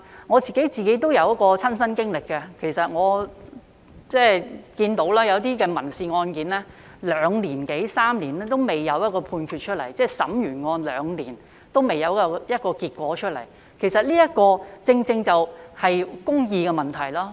我也有親身的經歷，我有看到有一些民事案件歷時兩年多三年仍未有判決出來，即案件完成審理兩年仍未有結果，其實這正正是公義的問題。